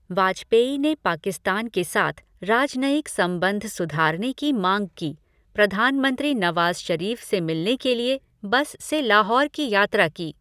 वाजपेयी ने पाकिस्तान के साथ राजनयिक संबंध सुधारने की माँग की, प्रधानमंत्री नवाज़ शरीफ़ से मिलने के लिए बस से लाहौर की यात्रा की।